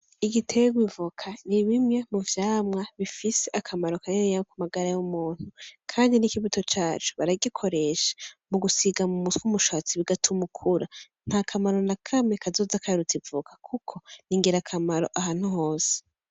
Igiterwa ivoka nibimwe muvyamwa bifise akamaro kaniniya kumagara y'umuntu Kandi n'ikibuto caco baragikoresha mugusiga mum'umushatsi bigatuma ukura n'akamaro nakamwe kazoza karuta ivoka kuko n'ingirakamaro ahantu hose.